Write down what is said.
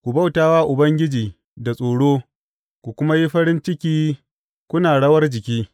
Ku bauta wa Ubangiji da tsoro ku kuma yi farin ciki kuna rawar jiki.